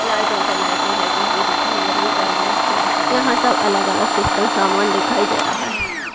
लाइटो पे लाइटे लगी हुई दिखाई दे रही जालिया है दिखाई दे रही है यहा सब अलग अलग सिस्टम सामान दिखाई दे रहा है।